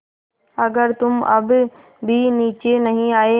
अगर तुम अब भी नीचे नहीं आये